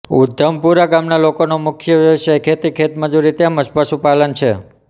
ઉધમતપુરા ગામના લોકોનો મુખ્ય વ્યવસાય ખેતી ખેતમજૂરી તેમ જ પશુપાલન છે